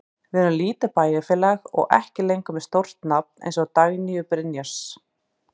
Við erum lítið bæjarfélag og ekki lengur með stórt nafn eins og Dagnýju Brynjars.